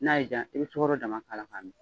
N'a y'i ja i bɛ sukaro dama k'a la k'a min.